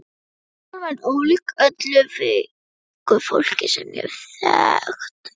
Alma er ólík öllu veiku fólki sem ég hef þekkt.